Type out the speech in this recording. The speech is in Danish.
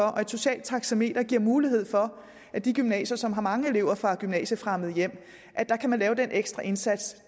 af og et socialt taxameter giver mulighed for at de gymnasier som har mange elever fra gymnasiefremmede hjem kan lave den ekstra indsats